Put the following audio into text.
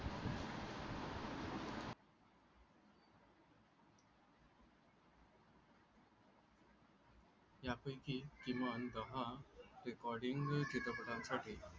यापैकी किमान दहा रेकोर्डिंग चित्रपटांसाठी